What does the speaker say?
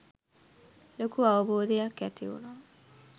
ලොකු අවබෝධයක් ඇතිවුනා.